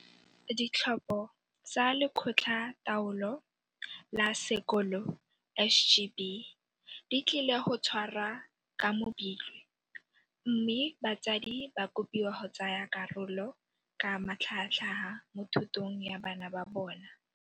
Ditlhopho tsa Lekgotla taolo la Sekolo, SGB, di tlile go tshwarwa ka Mopitlwe mme batsadi ba kopiwa go tsaya karolo ka matlhagatlhaga mo thutong ya bana ba bona.